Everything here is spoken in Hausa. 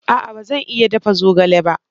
A'a ba zan iya dafa zogale ba.